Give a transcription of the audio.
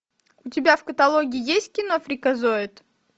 у тебя в каталоге есть кино фриказоид